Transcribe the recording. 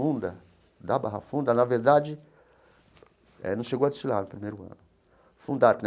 da Barra Funda, na verdade, não chegou a desfilar no primeiro ano.